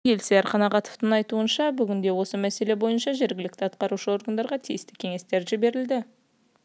комитетінің төрағасы елсияр қанағатовтың айтуынша бүгінде осы мәселе бойынша жергілікті атқарушы органдарға тиісті кеңестер жіберілді